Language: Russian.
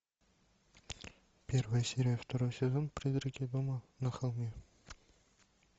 первая серия второй сезон призраки дома на холме